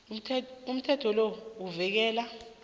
umthetho lo uvikela